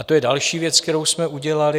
A to je další věc, kterou jsme udělali.